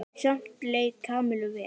Samt leið Kamillu vel.